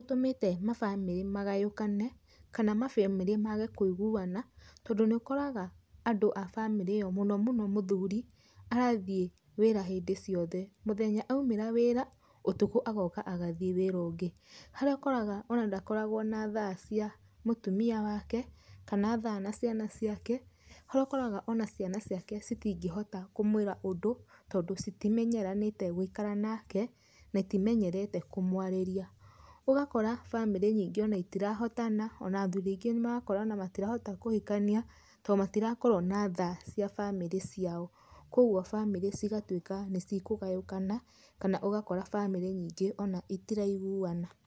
Nĩ ũtũmĩte mabamĩrĩ magayũkane kana mabamĩrĩ mage kũiguana tondũ nĩũkoraga andũ a bamĩrĩ ĩyo mũno mũno mũthuri arathie wĩra hĩndĩ ciothe, mũthenya aumĩra wĩra ũtukũ agathie wĩra ũngĩ harĩa ũkoraga ona ndakoragwo na thaa cia mũtumia wake kana thaa na ciana ciake harĩa ũgakora ona ciana ciake citingĩhota kũmwĩra ũndũ tondũ citimenyeranĩte gũikara nake na itimenyerete kũmwarĩria ũgakora bamĩrĩ nyingĩ ona itirahotana ona athuri aingĩ matirahota ona kũhikania tondũ matirakorwo na thaa cia bamĩrĩ ciao koguo bamĩrĩ cigakorwo nĩ ikũgayũkana kana ũgakora ona bamĩrĩ nyingĩ ona itiraiguana.